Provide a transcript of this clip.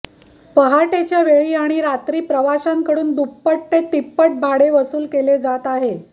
पहाटेच्या वेळी आणि रात्री प्रवाशांकडून दुप्पट ते तिप्पट भाडे वसूल केले जात आहे